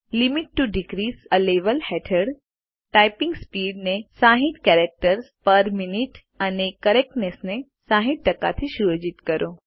limits to decrease a level હેઠળ typing speed ને 60 characters per minute and correctness ને 60 થી સુયોજિત કરો